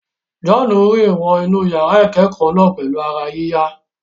John rìn wọ inú yàrá ìkẹ́kọ̀ọ́ náà pẹ̀lú ara yíyá.